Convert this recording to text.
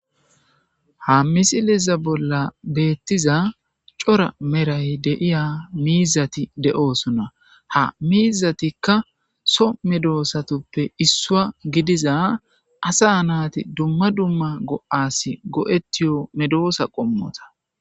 Ha misileza bolla beetiza cora meray deyiya miizati de'oosona. Ha miizatikka so meedosatuppe issuwa gidiza asa naati dumma dumma go'aasi go'etiyo meedoosa qommota.